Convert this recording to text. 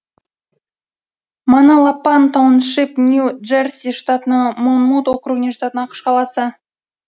маналапан тауншип нью джерси штатының монмут округіне жататын ақш қаласы